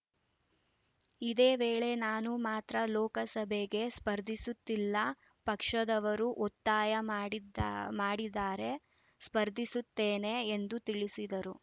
ಇದೇವೇಳೆ ನಾನು ಮಾತ್ರ ಲೋಕಸಭೆಗೆ ಸ್ಪರ್ಧಿಸುತ್ತಿಲ್ಲ ಪಕ್ಷದವರು ಒತ್ತಾಯ ಮಾಡಿದ್ದಾ ಮಾಡಿದರೆ ಸ್ಪರ್ಧಿಸುತ್ತೇನೆ ಎಂದು ತಿಳಿಸಿದರು